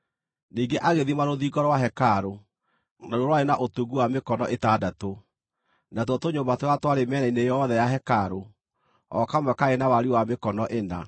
Ningĩ agĩthima rũthingo rwa hekarũ; naruo rwarĩ na ũtungu wa mĩkono ĩtandatũ, natuo tũnyũmba tũrĩa twarĩ mĩena-inĩ yothe ya hekarũ, o kamwe kaarĩ na wariĩ wa mĩkono ĩna.